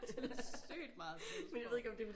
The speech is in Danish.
Det sygt meget Sims-sprog